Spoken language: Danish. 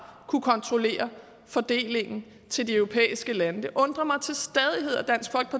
kunne kontrollere fordelingen til de europæiske lande det undrer mig